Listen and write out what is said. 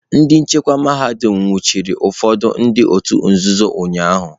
Ndị nchekwa mahadum nwụchiri ụfọdụ ndị òtù nzuzo ụnyahụ.